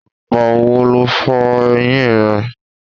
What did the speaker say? Ìgbà wo lo fọ eyín rẹ?